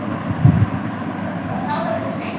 Og þá verður hreint.